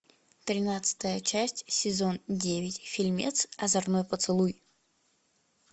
тринадцатая часть сезон девять фильмец озорной поцелуй